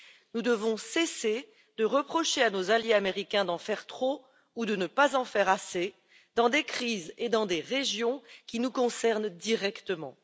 Nous devons cesser de reprocher à nos alliés américains d'en faire trop ou de ne pas en faire assez dans des crises et dans des régions qui nous concernent directement.